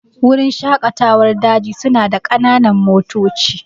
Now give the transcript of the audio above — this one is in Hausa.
Wurin shaƙatawar daji su na da ƙananan motoci